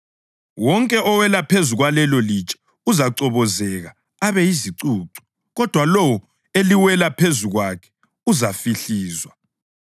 Wonke owela phezu kwalelolitshe uzachobozeka abe yizicucu, kodwa lowo eliwela phezu kwakhe uzahlifizwa.”